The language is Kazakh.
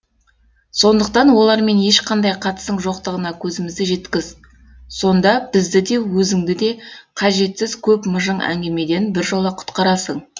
сондықтан олармен ешқандай қатысың жоқтығына көзімізді жеткіз сонда бізді де өзіңді де қажетсіз көп мыжың әңгімеден біржола құтқарасың